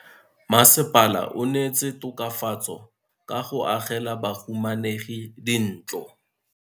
Mmasepala o neetse tokafatso ka go agela bahumanegi dintlo.